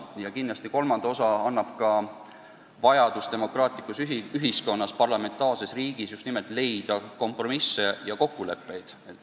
Ja kindlasti kolmas tegur on vajadus demokraatlikus ühiskonnas, parlamentaarses riigis kompromisse leida ja kokkuleppele jõuda.